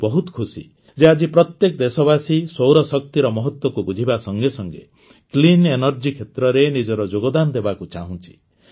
ମୁଁ ବହୁତ ଖୁସି ଯେ ଆଜି ପ୍ରତ୍ୟେକ ଦେଶବାସୀ ସୌରଶକ୍ତିର ମହତ୍ୱକୁ ବୁଝିବା ସଙ୍ଗେ ସଙ୍ଗେ କ୍ଲିନ୍ ଏନର୍ଜି କ୍ଷେତ୍ରରେ ନିଜର ଯୋଗଦାନ ଦେବାକୁ ଚାହୁଁଛି